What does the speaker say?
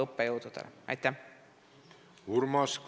Urmas Kruuse, palun!